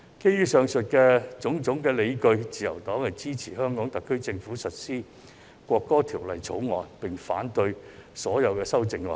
基於上述種種理據，自由黨支持香港特區政府提交《條例草案》及落實《國歌法》，並反對所有修正案。